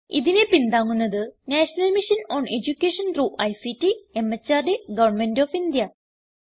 ഇതിനെ പിന്താങ്ങുന്നത് national mission on education through ICT MHRD government of India